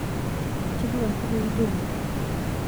tipikaki kukui dum